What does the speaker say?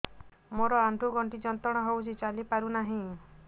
ମୋରୋ ଆଣ୍ଠୁଗଣ୍ଠି ଯନ୍ତ୍ରଣା ହଉଚି ଚାଲିପାରୁନାହିଁ